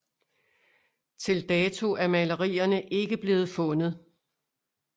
Til dato er malerierne ikke blevet fundet